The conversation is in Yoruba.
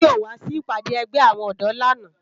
Toyin ó wá si ipàdá ègbé áwòn òdò làná